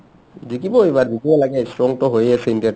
জিকিব এইবাৰ জিকিব লাগে strong টো হয়ে আছে ইণ্ডিয়াৰ team